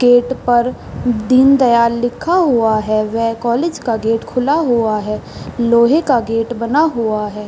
Gate पर दीन दयाल लिखा हुआ है व कॉलेज का गेट खुला हुआ है लोहे का गेट बना हुआ है।